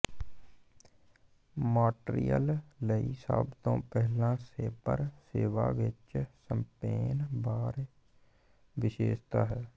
Montreal ਲਈ ਸਭ ਤੋਂ ਪਹਿਲਾਂ ਸੈਬਰ ਸੇਵਾ ਵਿੱਚ ਸ਼ੈਂਪੇਨ ਬਾਰ ਵਿਸ਼ੇਸ਼ਤਾ ਹੈ